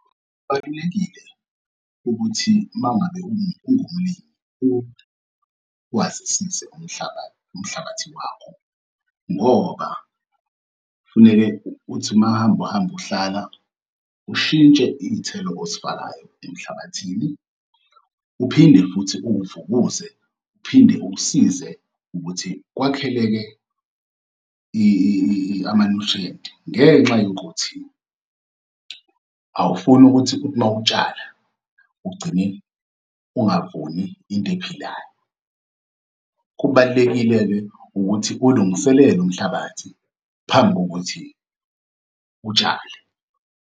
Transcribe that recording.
Kubalulekile ukuthi uma ngabe ungumlimi uwazisise umhlabathi, umhlabathi wakho ngoba kufuneke ukuthi uma uhamba uhamba uhlala, ushintshe iy'thelo ozifakayo emhlabathini, uphinde futhi uwuvukuze, uphinde ukusize ukuthi kwakheleke ama-nutrient ngenxa yokuthi awufuni ukuthi uthi uma utshala ugcine ungavuni into ephilayo. Kubalulekile-ke ukuthi ulungiselele umhlabathi phambi kokuthi utshale.